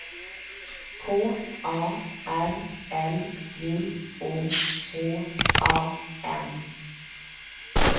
K A R L J O H A N